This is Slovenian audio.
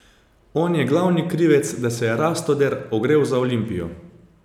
On je glavni krivec, da se je Rastoder ogrel za Olimpijo.